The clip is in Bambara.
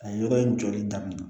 A ye yɔrɔ in jɔli daminɛ